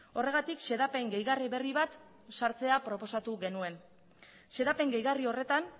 horregatik xedapen gehigarri berri bat sartzea proposatu genuen xedapen gehigarri horretan